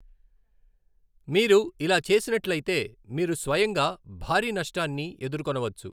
మీరు ఇలా చేసినట్లయితే, మీరు స్వయంగా భారీ నష్టాన్ని ఎదుర్కొనవచ్చు.